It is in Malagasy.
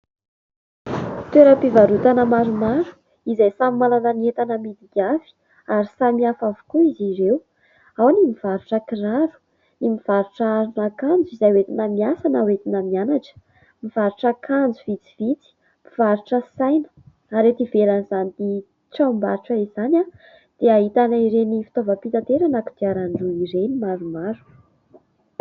Toeram-pivarotana maromaro, izay samy manana ny entana amidiny avy, ary samihafa avokoa izy ireo. Ao ny mivarotra kiraro, ny mivarotra arina akanjo izay hoentina miasa na hoentina mianatra, mivarotra akanjo vitsivitsy, mpivarotra saina ary ety ivelan'izany tranombarotra izany a, dia ahitana ireny fitaovam-pitaterana kodiaran-droa ireny maromaro.